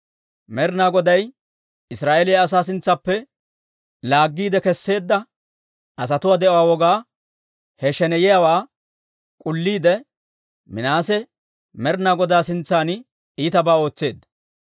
Med'ina Goday Israa'eeliyaa asaa sintsaappe laaggiide kesseedda asatuwaa de'uwaa wogaa, he sheneyiyaawaa k'ulliide, Minaase Med'ina Godaa sintsan iitabaa ootseedda.